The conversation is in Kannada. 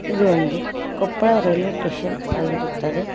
ಇದು ಒಂದು ಕೊಪ್ಪಳ ರೈಲ್ವೆ ಟೇಷನ್ ಆಗಿರುತ್ತದೆ.